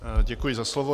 Děkuji za slovo.